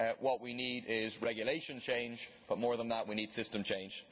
What we need is regulation change but, more than that, we need system change.